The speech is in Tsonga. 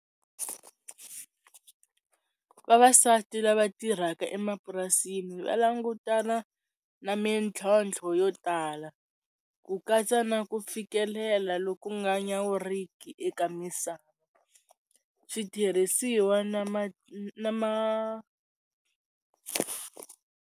Vavasati lava tirhaka emapurasini va langutana na mintlhontlho yo tala ku katsa na ku fikelela loku nga nyawuriki eka misava switirhisiwa na ma na ma.